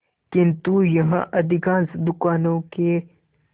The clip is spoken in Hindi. किंतु यहाँ अधिकांश दुकानों के